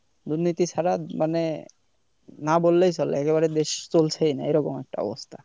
দুর্নীতি ছাড়া মানে না বললেই চলে একেবারে দেশ চলছেই না এরকম একটা অবস্থা।